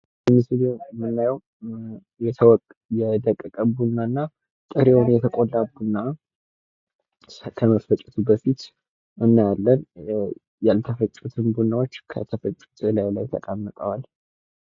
በምስሉ የምናየው የደቀቀ ቡናና ጥሬውን የተቆላ ቡና ከመፈጨቱ በፊት እናያለን። ያልተፈጩትን ቡናዎች ከተፈጩት እላዩ ላይ ተቀምጠዋል።